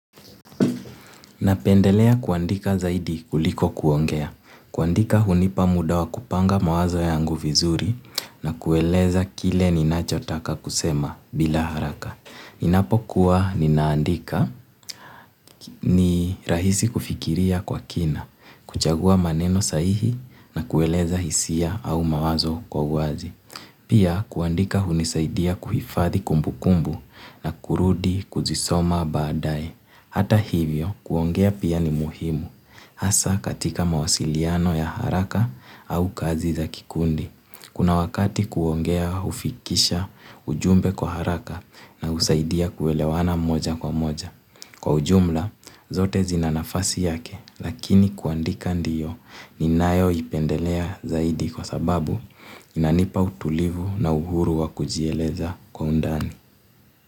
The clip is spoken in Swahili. Napendelea kuandika zaidi kuliko kuongea. Kuandika hunipa muda wa kupanga mawazo yangu vizuri na kueleza kile ninachotaka kusema bila haraka. Ninapokuwa ninaandika ni rahisi kufikiria kwa kina, kuchagua maneno sahihi na kueleza hisia au mawazo kwa uwazi. Pia kuandika hunisaidia kuhifadhi kumbukumbu na kurudi kuzisoma baadae. Hata hivyo, kuongea pia ni muhimu. Hasa katika mawasiliano ya haraka au kazi za kikundi. Kuna wakati kuongea hufikisha ujumbe kwa haraka na husaidia kuelewana moja kwa moja. Kwa ujumla, zote zinanafasi yake, lakini kuandika ndiyo ninayo ipendelea zaidi kwa sababu inanipa utulivu na uhuru wa kujieleza kwa undani.